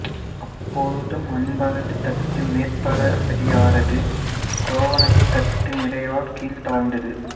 அப்பொழுதும் அன்பரது தட்டு மேற்பட அடியாரது கோவணத்தட்டு நிறையால் கீழே தாழ்ந்தது